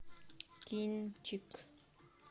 кинчик